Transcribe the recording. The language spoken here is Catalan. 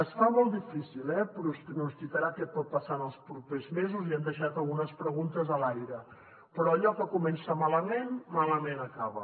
es fa molt difícil eh pronosticar què pot passar en els propers mesos i hem deixat algunes preguntes a l’aire però allò que comença malament malament acaba